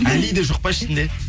али де жоқ па ішінде